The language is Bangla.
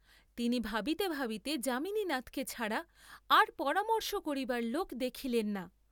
তিনি ভাবিতে ভাবিতে যামিনীনাথকে ছাড়া আর পরামর্শ করিবার লোক দেখিলেন না।